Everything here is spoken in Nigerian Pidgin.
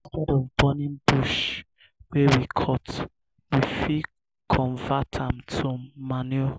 instead of burning bush wey we cut we fit convert am to manure